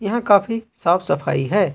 यहा काफी साफ सफाई है।